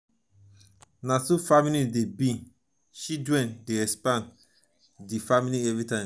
na so family dey be children dey expand di family everytime.